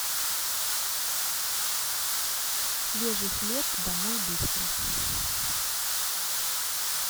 свежий хлеб домой быстро